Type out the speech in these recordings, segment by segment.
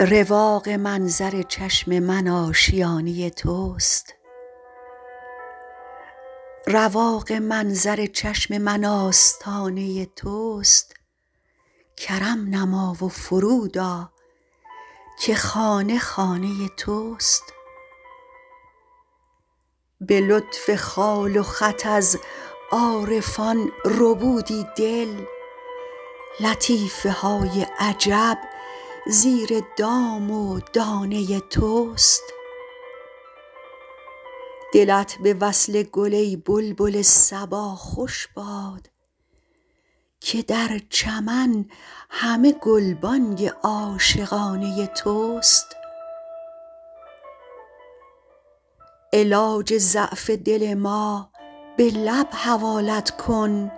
رواق منظر چشم من آشیانه توست کرم نما و فرود آ که خانه خانه توست به لطف خال و خط از عارفان ربودی دل لطیفه های عجب زیر دام و دانه توست دلت به وصل گل ای بلبل صبا خوش باد که در چمن همه گلبانگ عاشقانه توست علاج ضعف دل ما به لب حوالت کن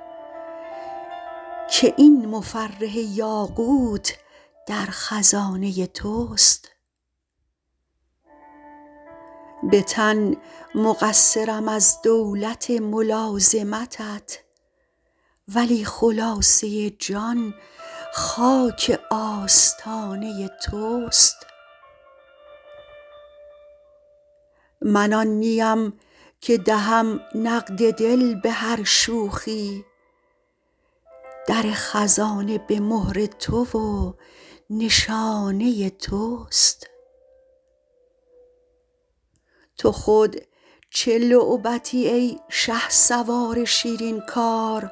که این مفرح یاقوت در خزانه توست به تن مقصرم از دولت ملازمتت ولی خلاصه جان خاک آستانه توست من آن نیم که دهم نقد دل به هر شوخی در خزانه به مهر تو و نشانه توست تو خود چه لعبتی ای شهسوار شیرین کار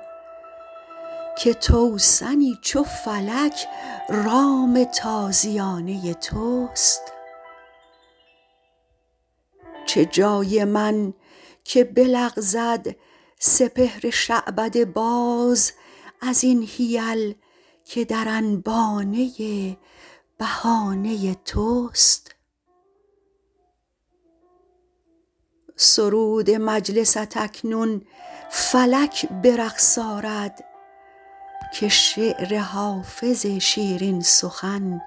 که توسنی چو فلک رام تازیانه توست چه جای من که بلغزد سپهر شعبده باز از این حیل که در انبانه بهانه توست سرود مجلست اکنون فلک به رقص آرد که شعر حافظ شیرین سخن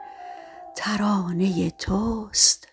ترانه توست